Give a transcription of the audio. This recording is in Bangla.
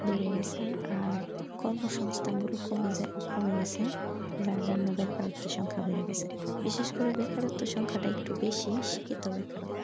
বেড়ে গাছে আর কর্মসংস্থান কমে যাই কমে গেছে তার জন্য বেকারত্বের সংখ্যা বেড়ে গেছে বিশেষ করে বেকারত্বের সংখ্যাটা একটু বেশি সে ক্ষেত্রে বেকারত্ব।